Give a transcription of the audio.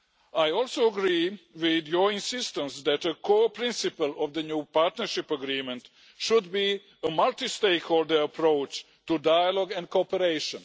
I also agree with your insistence that a core principle of the new partnership agreement should be a multi stakeholder approach to dialogue and cooperation.